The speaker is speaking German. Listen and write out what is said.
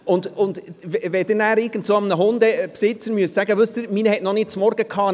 Wenn Sie irgendeinem Hundebesitzer sagen müssen: «Wissen Sie, meiner hat noch kein Frühstück gehabt;